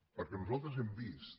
perquè nosaltres hem vist